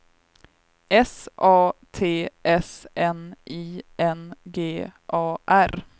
S A T S N I N G A R